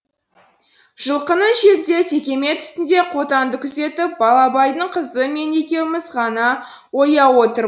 жылқының шетінде текемет үстінде қотанды күзетіп балабайдың қызы мен екеуміз ғана ояу отыр